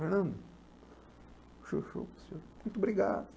Muito obrigado.